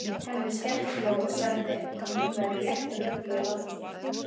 Hemmi skellihló og sagði að hún væri léttrugluð að láta svona.